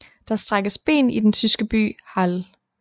Der strækkes ben i den tyske by Halle